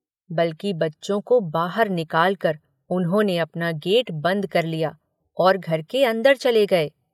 बल्कि बच्चों को बाहर निकालकर उन्होंने अपना गेट बंद कर लिया और घर के अंदर चले गए।